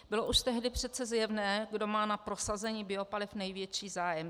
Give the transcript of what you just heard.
Bylo už tehdy přece zjevné, kdo má na prosazení biopaliv největší zájem.